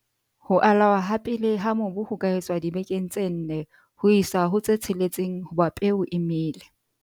Ho alwa ha pele ha mobu ho ka etswa dibekeng tse 4 ho isa ho tse 6 hoba peo e mele.